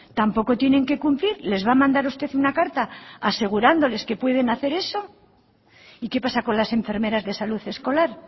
tampoco tienen que cumplir les va a mandar usted una carta asegurándoles que pueden hacer eso y qué pasa con las enfermeras de salud escolar